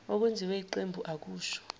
okwenziwe yiqembu akusho